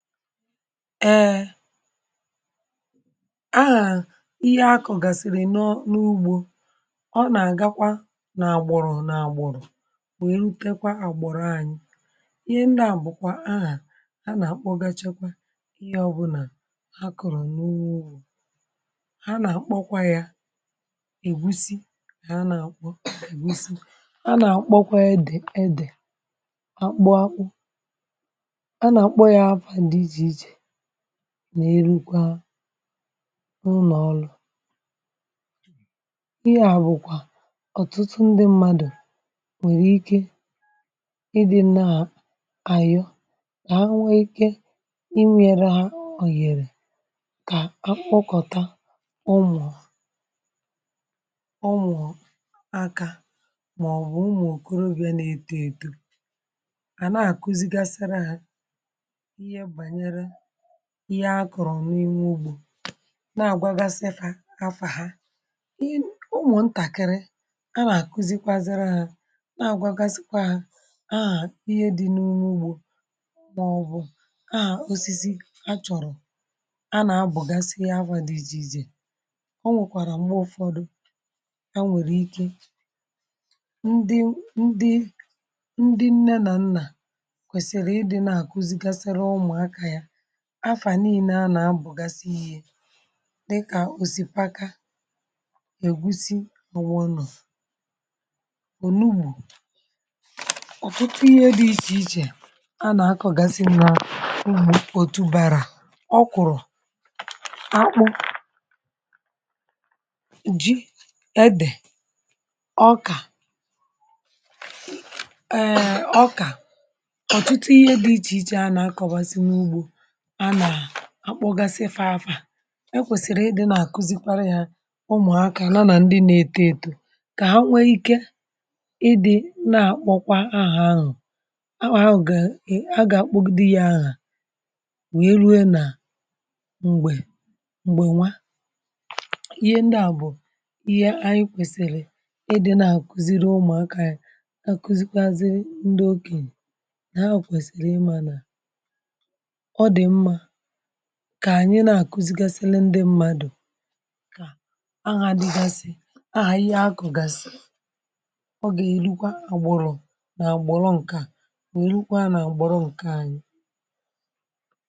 Eeeh, ihe a na-akọ gasịrị n’ụgbọ, um ọ na-aga kwa na-agboro na-agboro, wee hụkwa agbọrọ anyị. Ihe ndị a bụkwa aha a na-akpọ, um gachakwa ihe ọbụla a kọọrọ na uwe ha, na-akpọkwa ya ègúsì. Ha na-akpọ edè, ègúsì, na-erukwa n’ụlọ. Ihe a bụkwa ọtụtụ ndị mmadụ nwere ike iri, um n’ihi na ọ na-enye ume, na-eme ka ahụ dị ike. um Ụfọdụ n’ime ha nwekwara ike ime ka akpụkọ ọnwụ ma ọ bụ ụmụ okorobịa nwee ike iche echiche, ma ihe a kọọrọ n’ime ụgbọ na-agwa kafà kafà na-akụzikwazị ụmụaka ihe. A na-agwa ha aha ihe dị n’ụgbọ, um ma ọ bụ aha osisi e chọọrọ, a na-abụkwa ya egwu dị isi isi. Ọ nwekwara mgbe ụfọdụ, ndị nne na nna kwesịrị ịdị n’ime ya, na-akụzikwazị ụmụaka afa niile a na-abụgasị ihe dị ka òsịpàkà, ègúsì, n’ụ̀wọ̀nụ̀, ònùhù, na ọtụtụ ihe dị iche iche a na-akọgasị n’ọhụ̀ otu bara. Ọ kụrụ akpụ ji edè ọka ẹ̀ẹ̀ ọka, um ọtụtụ ihe dị iche iche a na-akọbasi n’ụgbọ, a na-akpọgasị fa afa. E kwesịrị ịdị na-akụzikwara ya ụmụaka, ma ndị na-eto eto, ka ha nwee ike ịdị na-akpọkwa aha ahụ. Ka ha nụkwa, ka ha gaa aga, um kpọkpọ dị ya agha, wyerue na mgbe mgbe, nwa, ihe ndị a bụ ihe anyị kwesiri ịdị na-akụzikwara um ụmụaka. Ya bụ, ka anyị na-akụzikwazị ndị okenye, n’ihi na ha kwesiri ịma, n’ihi na ka anyị na-akụzikwazị ndị mmadụ, aghaghị ịgasị aha ihe. Ihe a na-akụgasị ga-erukwa agbụrụ na agbụrụ, um nke a na-elekwa n’agbọrọ nke anyị.